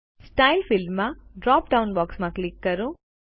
style ફીલ્ડમાં drop down બોક્સમાં click કરો